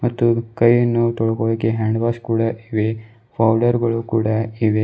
ಮತ್ತು ಕೈಯನ್ನು ತೊಳ್ಕೊಳೋಕೆ ಹ್ಯಾಂಡ್ ವಾಷ್ ಕೂಡ ಇವೆ ಪೌಡರ್ ಗಳು ಕೂಡ ಇವೆ.